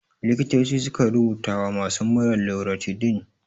Likitoci sukan rubuta wa masu mura loratidin.